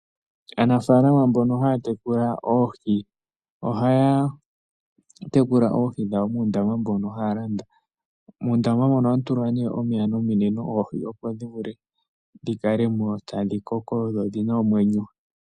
Aanafaalama mbono haya tekula oohi ohaya tekula oohi dhawo muundama mbono haya landa. Uundama mbono ohamu tulwa wo omeya nominino opo oohi dhi kale mo tadhi koko nodhi na omwenyo.